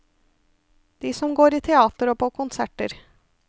De som går i teater og på konserter.